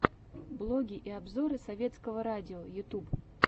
блоги и обзоры советского радио ютуб